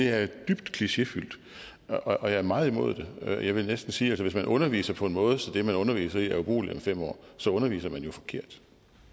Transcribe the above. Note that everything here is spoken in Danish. er dybt klichéfyldt og jeg er meget imod den jeg vil næsten sige at hvis man underviser på en måde så det man underviser i er ubrugeligt om fem år så underviser man jo forkert